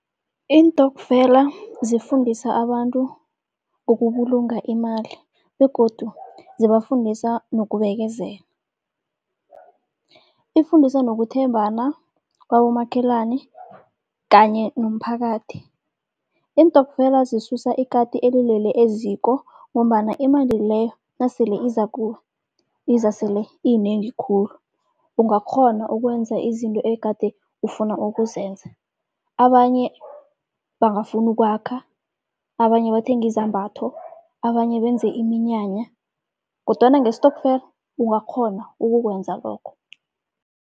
Iintokfela zifundisa abantu ngokubulunga imali, begodu zibafundisa nokubekezela. Ifundisa nokuthembana kwabomakhelani kanye nomphakathi. Iintokfela zisusa ikati elilele eziko, ngombana imali leyo nasele izakuwe iza sele iyinengi khulu, ungakghona ukwenza izinto egade ufuna ukuzenza. Abanye bangafuna ukwakha, abanye bathenge izambatho, abanye benze iminyanya, kodwana ngestokfela ungakghona ukukwenza lokho.